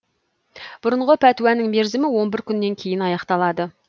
бұрынғы пәтуаның мерзімі он бір күннен кейін аяқталады